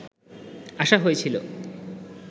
আসা হয়েছিল